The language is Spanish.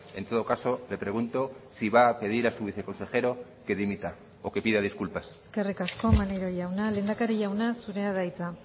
en todo caso le pregunto si va a pedir a su viceconsejero que dimita o que pida disculpas eskerrik asko maneiro jauna lehendakari jauna zurea da hitza